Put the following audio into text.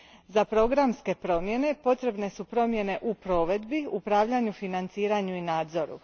Za programske promjene, potrebne su promjene u provedbi, upravljanju, financiranju i nadzoru.